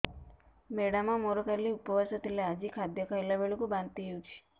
madam ମୋର କାଲି ଉପବାସ ଥିଲା ଆଜି ଖାଦ୍ୟ ଖାଇଲା ବେଳକୁ ବାନ୍ତି ହେଊଛି